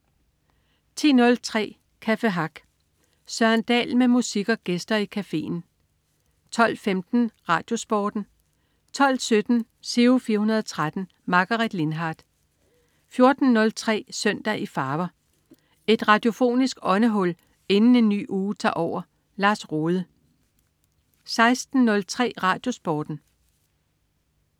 10.03 Café Hack. Søren Dahl med musik og gæster i cafeen 12.15 RadioSporten 12.17 Giro 413. Margaret Lindhardt 14.03 Søndag i farver. Et radiofonisk åndehul inden en ny uge tager over. Lars Rohde 16.03 RadioSporten